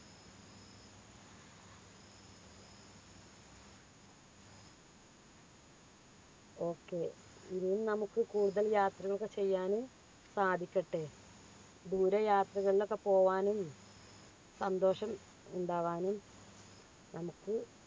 okay നമുക്ക് കൂടുതൽ യാത്ര ചെയ്യാനും സാധിക്കട്ടെ ദൂര യാത്രകളിൽ ഒക്കെ പോവാനും സന്തോഷം ഉണ്ടാവാനും നമുക്ക്